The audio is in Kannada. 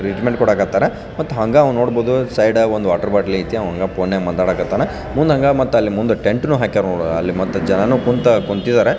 ಟ್ರೀಟ್ಮೆಂಟ್ ಕೊಡಕತರ ಮತ್ತ ಹಂಗೆ ನೋಡಬಹುದು ಸೈಡ್ ಗೆ ಒಂದು ವಾಟರ್ ಬೊಟ್ಟಲ್ ಐತೆ ಅವನು ಫೋನ್ ಗ ಮಾತಾಡಕತನ ಮುಂದೆ ಅಲ್ಲೇ ಒಂದು ಟೆಂಟ್ ಹಾಕಾರ ಮತ್ತು ಅಲ್ಲೇ ಜನನು ಕೂತಾರ --